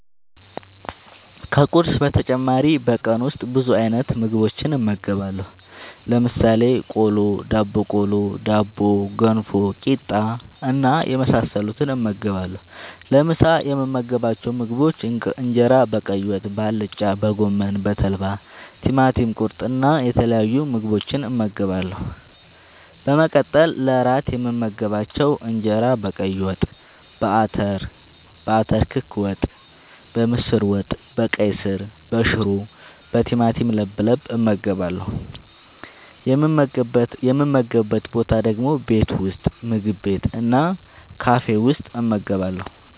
ከቁርስ በተጨማሪ በቀን ውስጥ ብዙ አይነት ምግቦችን እመገባለሁ። ለምሳሌ፦ ቆሎ፣ ዳቦቆሎ፣ ዳቦ፣ ገንፎ፣ ቂጣ እና የመሳሰሉትን እመገባለሁ። ለምሳ የምመገባቸው ምግቦች እንጀራ በቀይ ወጥ፣ በአልጫ፣ በጎመን፣ በተልባ፣ ቲማቲም ቁርጥ እና የተለያዩ ምግቦችን እመገባለሁ። በመቀጠል ለእራት የምመገባቸው እንጀራ በቀይ ወጥ፣ በአተር ክክ ወጥ፣ በምስር ወጥ፣ በቀይ ስር፣ በሽሮ፣ በቲማቲም ለብለብ እመገባለሁ። የምመገብበት ቦታ ደግሞ ቤት ውስጥ፣ ምግብ ቤት እና ካፌ ውስጥ እመገባለሁ።